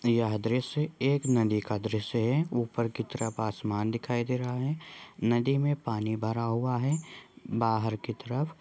यह दृश्य एक नदी का दृश्य है ऊपर की तरफ आसमान दिखाई दे रहा है नदी में पानी भरा हुआ है बाहर की तरफ।